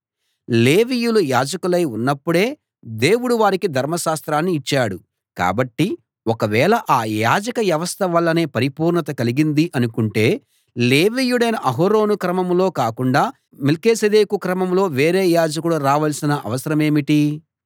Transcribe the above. లేవీయులు యాజకులై ఉన్నప్పుడే దేవుడు వారికి ధర్మశాస్త్రాన్ని ఇచ్చాడు కాబట్టి ఒకవేళ ఆ యాజక వ్యవస్థ వల్లనే పరిపూర్ణత కలిగిందీ అనుకుంటే లేవీయుడైన అహరోను క్రమంలో కాకుండా మెల్కీసెదెకు క్రమంలో వేరే యాజకుడు రావలసిన అవసరమేంటి